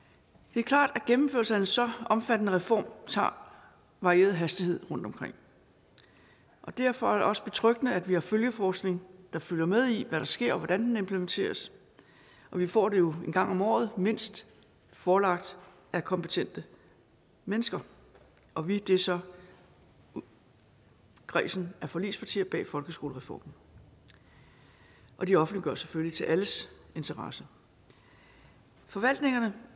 det er klart at gennemførelse af en så omfattende reform tager varieret hastighed rundtomkring og derfor er det også betryggende at vi har følgeforskning der følger med i hvad der sker og hvordan den implementeres vi får det jo en gang om året mindst forelagt af kompetente mennesker og vi er så kredsen af forligspartier bag folkeskolereformen og de offentliggøres selvfølgelig til alles interesse forvaltningerne